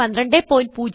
1204